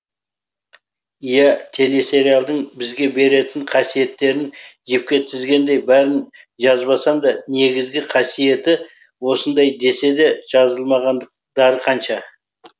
иә телесериалдың бізге беретін қасиеттерін жіпке тізгендей бәрін жазбасам да негізгі қасиеті осындай деседе жазылмағандықтары қанша